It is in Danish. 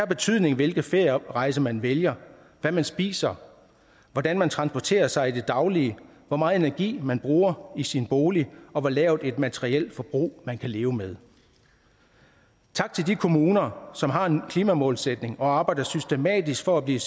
betydning hvilke ferierejser man vælger hvad man spiser hvordan man transporterer sig i det daglige hvor meget energi man bruger i sin bolig og hvor lavt et materielt forbrug man kan leve med tak til de kommuner som har en klimamålsætning og arbejder systematisk for at blive